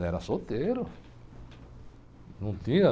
Não, era solteiro. Não tinha...